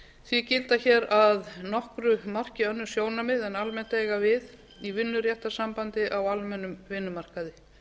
því gilda hér að nokkru marki önnur sjónarmið en almennt eiga við í vinnuréttarsambandi á almennum vinnumarkaði